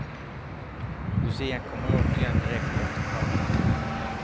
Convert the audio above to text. Lucian kommer återigen direkt efter kröningen.